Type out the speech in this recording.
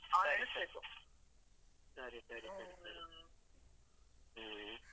ಸರಿ, ಸರಿ. ಹ್ಮ್ ಸರಿ ಸರಿ ಸರಿ ಸರಿ. ಹ್ಮ್.